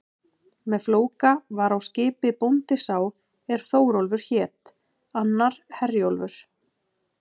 Með Flóka var á skipi bóndi sá er Þórólfur hét, annar Herjólfur.